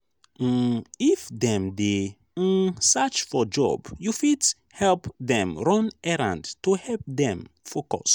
um if dem dey um search for job you fit help dem run errand to help them focus